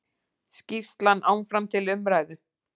Skýrslan áfram til umræðu